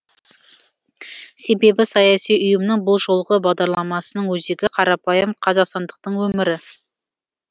себебі саяси ұйымның бұл жолғы бағдарламасының өзегі қарапайым қазақстандықтың өмірі